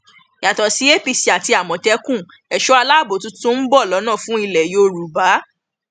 yàtọ sí apc àti àmọtẹkùn ẹṣọ aláàbọ tuntun ń bọ lọnà fún ilẹ yorùbá